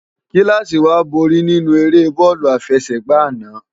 Kilási wá ló bóri ninú ëré bòlù áfèségbá àná